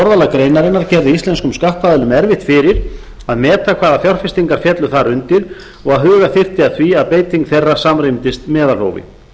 orðalag greinarinnar gerði íslenskum skattaðilum erfitt fyrir að meta hvaða fjárfestingar féllu þar undir og að huga þyrfti að því að beiting þeirra samrýmdist meðalhófi